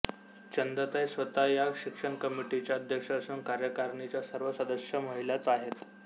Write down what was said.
चंदाताई स्वतः या शिक्षण कमिटीच्या अध्यक्ष असून कार्यकारिणीच्या सर्व सदस्य महिलाच आहेत